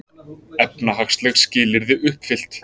Efnahagsleg skilyrði uppfyllt